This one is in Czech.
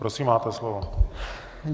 Prosím, máte slovo.